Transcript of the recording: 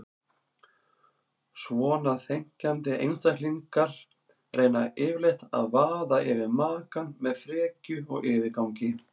Svona þenkjandi einstaklingar reyna yfirleitt að vaða yfir makann með frekju og yfirgangi.